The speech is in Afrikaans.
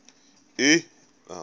u eis indien